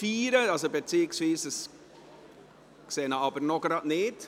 Ich sehe die betreffende Person noch nicht.